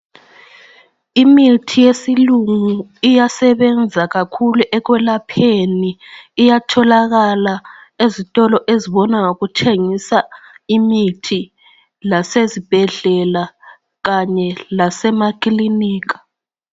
Imithi yesilungu iyasebenza kakhulu ekwelapheni. Iyatholakala ezitolo ezibona ngokuthengisa imithi, lasezibhedlela kanye lasemakilinika.